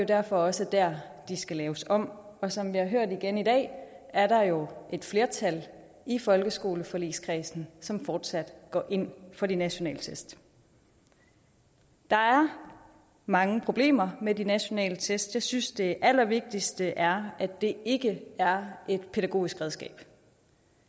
derfor også der de skal laves om som vi har hørt igen i dag er der jo et flertal i folkeskoleforligskredsen som fortsat går ind for de nationale test der er mange problemer med de nationale test jeg synes det allervigtigste er at det ikke er et pædagogisk redskab